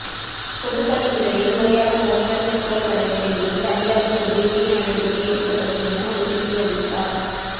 பொதுப்பணித்துறையில் முறையாக பணிகள் மேற்கொள்ளப்படவில்லை எனில் அதிகாரிகள் மீது உரிய நடவடிக்கை எடுக்கப்படும் என உறுதியளித்தார்